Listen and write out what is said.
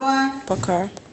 пока